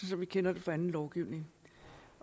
som vi kender det fra anden lovgivning